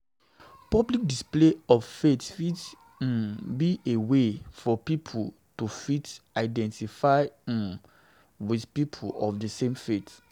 Public display of faith fit um be a way for pipo to fit identify um with people of di same faith